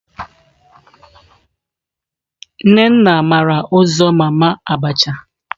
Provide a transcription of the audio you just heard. Nnena mara uzo mama abacha.